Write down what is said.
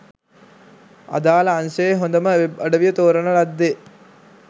අදාල අංශයේ හොඳම වෙබ් අඩවිය තෝරන ලද්දේ